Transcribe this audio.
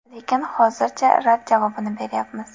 Lekin, hozircha rad javobini beryapmiz.